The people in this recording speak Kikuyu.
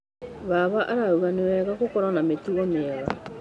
Baba arauga nĩ wega gũkorwo na mĩtugo mĩega.